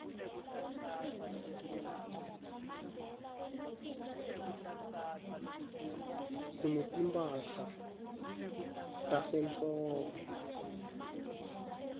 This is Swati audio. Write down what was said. sinetimphahla tasehlobo